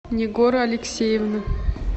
нигора алексеевна